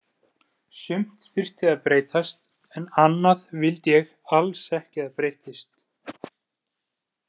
Sumt þyrfti að breytast, en annað vildi ég alls ekki að breyttist.